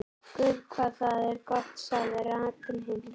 Guð hvað það er gott sagði Ragnhildur.